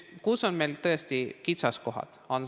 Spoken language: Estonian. Kus on meil tõesti kitsaskohad?